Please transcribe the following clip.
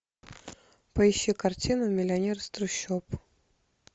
поищи картину миллионер из трущоб